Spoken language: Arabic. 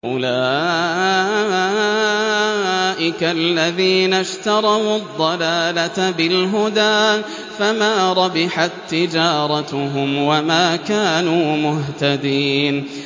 أُولَٰئِكَ الَّذِينَ اشْتَرَوُا الضَّلَالَةَ بِالْهُدَىٰ فَمَا رَبِحَت تِّجَارَتُهُمْ وَمَا كَانُوا مُهْتَدِينَ